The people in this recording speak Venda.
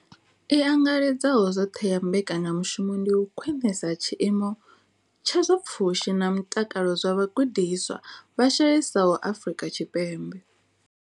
I angaredzaho zwoṱhe ya mbekanya mushumo ndi u khwinisa tshiimo tsha zwa pfushi na mutakalo zwa vhagudiswa vha shayesaho Afrika Tshipembe.